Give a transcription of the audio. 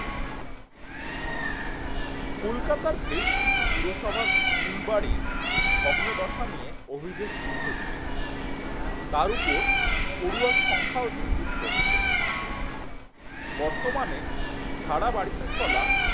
কলকাতার বেশ কিছু পুরসভার স্কুল বাড়ির ভগ্নদশা নিয়ে অভিযোগ দীর্ঘদিনের তার ওপর পড়ুয়ার সংখ্যাও দিনদিন কমছে বর্তমানে ভাড়া বাড়িতে চলা